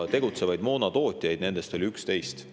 Tegutsevaid moonatootjaid oli nende seas 11.